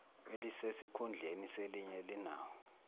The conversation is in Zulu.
elisesikhundleni selinye linawo